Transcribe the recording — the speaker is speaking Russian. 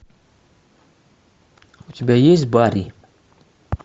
у тебя есть барри